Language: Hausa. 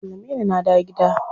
An sallame ni na dawo gida.